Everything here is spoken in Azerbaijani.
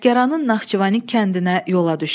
Əsgəranın Naxçıvanik kəndinə yola düşdü.